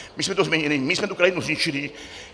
My jsme to změnili, my jsme tu krajinu zničili.